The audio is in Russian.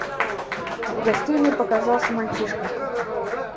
в гостиной показался мальчишка